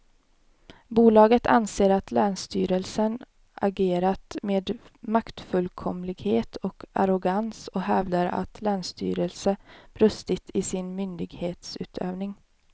Bolaget anser att länsstyrelsen agerat med maktfullkomlighet och arrogans och hävdar att länsstyrelsen brustit i sin myndighetsutövning.